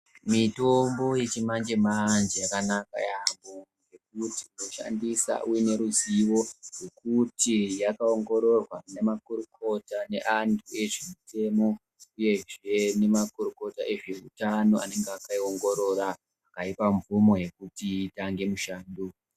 Mitombo yechimanje manje, yakanaka yamo, nekuti unoshandisa uneruzivo, nekuti yakawongororwa nemakorokota ne antu ezvemutemo. Uyezve nemakorokota ezvewutano anenge akayiwongorora, ayipa mvumo yekuti itange mushando.